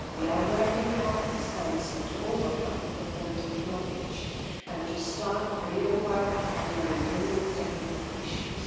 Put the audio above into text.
We are working hard with the Council to overcome the political blockage and to start real work on the remaining technical issues.